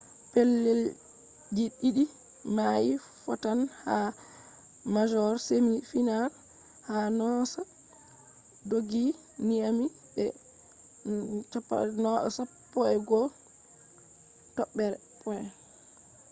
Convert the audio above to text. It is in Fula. pellel ji ɗiɗi mai fottan ha major semi final ha noosa dooggi nyami be 11 points